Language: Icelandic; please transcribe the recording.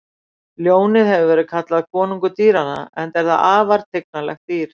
Ljónið hefur verið kallað konungur dýranna enda er það afar tignarlegt dýr.